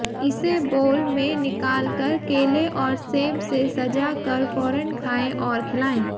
इसे बोल में निकाल कर केले और सेब से सजा कर फौरन खायें और खिलाएं